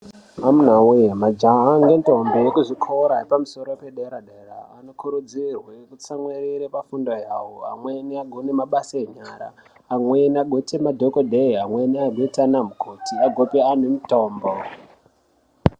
Amuna we majaha nendombi ekuzvitoro zvedera dera anokurudzirwa kutsamwirira pafundo yawo amweni agone mabasa enyara amweni agoite madhokodheya agoita ana mukoti agope antu mitombo.